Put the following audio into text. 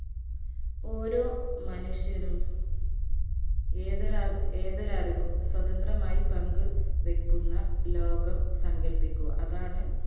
ഓരോ മനുഷ്യനും ഏതൊരർ ഏതൊരറിവും സ്വതന്ത്രമായി പങ്ക്‌വെക്കുന്ന ലോകം സങ്കൽപ്പിക്കു അതാണ്